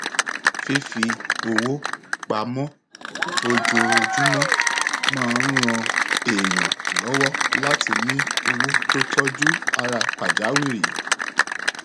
fífi owó pa mọ ojoojúmọ máa ń ran èèyàn lọwọ láti ní owó tó tọjú ara pàjáwìrì